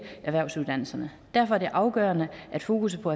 erhvervsuddannelserne derfor er det afgørende at fokusset på